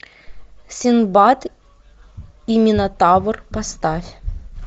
синдбад и минотавр поставь